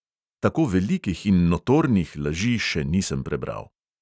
Tako velikih in notornih laži še nisem prebral.